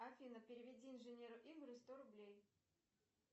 афина переведи инженеру игорю сто рублей